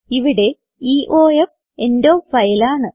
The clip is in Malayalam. ഇവിടെ ഇയോഫ് എൻഡ് ഓഫ് ഫൈൽ ആണ്